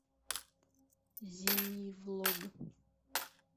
зимний влог